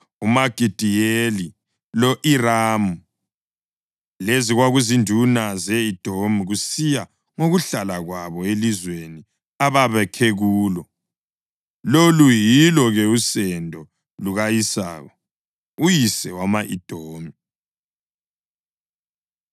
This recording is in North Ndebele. uMagidiyeli lo-Iramu. Lezi kwakuzinduna ze-Edomi, kusiya ngokuhlala kwabo elizweni ababakhe kulo. Lolu yilo-ke usendo luka-Esawu, uyise wama-Edomi.